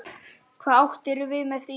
Hvað áttirðu við með því?